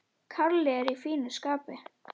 Kalli er í fínu skapi.